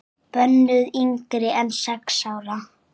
Bönnuð yngri en sex ára.